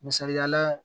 Misali la